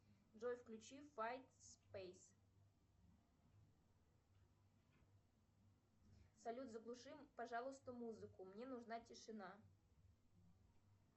джой включи файтспейс салют заглуши пожалуйста музыку мне нужна тишина